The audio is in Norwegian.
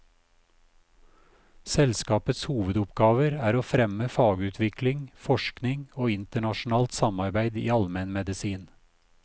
Selskapets hovedoppgaver er å fremme fagutvikling, forskning og internasjonalt samarbeid i almenmedisin.